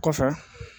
Kɔfɛ